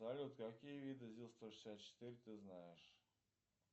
салют какие виды зил сто шестьдесят четыре ты знаешь